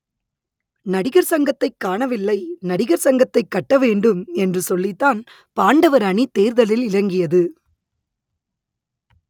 நடிகர் சங்கத்தை காணவில்லை நடிகர் சங்கத்தை கட்ட வேண்டும் என்று சொல்லித்தான் பாண்டவர் அணி தேர்தலில் இறங்கியது